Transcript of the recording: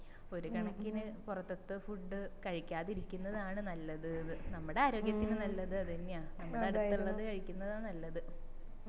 ഒരുകണക്കിന് പൊറത്തെത്തെ food കഴിക്കാതിരിക്കുന്നതാണ് നല്ലതിന്ന് നമ്മടെ ആരോഗ്യത്തിന് നല്ലത് അതെന്നയാ നമ്മടെ അടുത്തില്ലത് കഴിക്കിന്നതാ നല്ലത്